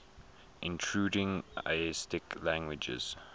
intruding asiatic languages